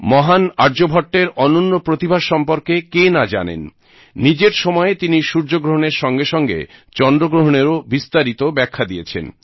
মহান আর্যভট্টের অনন্য প্রতিভা সম্পর্কে কে না জানেন নিজের সময়ে তিনি সূর্যগ্রহণের সঙ্গেসঙ্গে চন্দ্রগ্রহণেরও বিস্তারিত ব্যাখ্যা দিয়েছেন